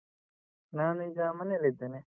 ನಾನೀಗ ಮನೇಲಿದ್ದೇನೆ.